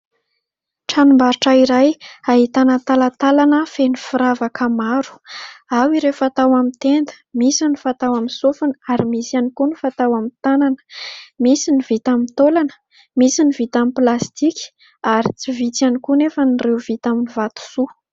Tranombarotra iray ahitana talantalana feno firavaka maro ao ireo fatao amin'ny tenda. misy ny fatao amin'ny sofina ary misy ihany koa ny fatao amin'ny tanana, misy ny vita aminy tolana, misy ny vita amin'ny plastika ary tsy vitsy ihany koa nefa ireo vita amin'ny vatosoa.